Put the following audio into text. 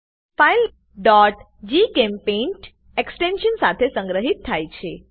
file gchempaint extension સાથે સંગ્રહિત થાય છે